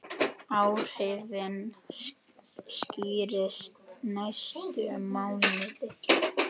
Áhrifin skýrist næstu mánuði.